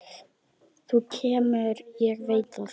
Þú kemur, ég veit það.